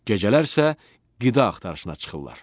Gecələr isə qida axtarışına çıxırlar.